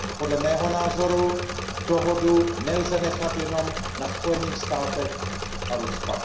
Podle mého názoru dohodu nelze nechat jenom na Spojených státech a Rusku.